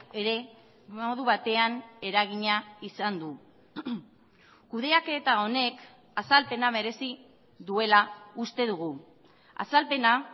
ere modu batean eragina izan du kudeaketa honek azalpena merezi duela uste dugu azalpena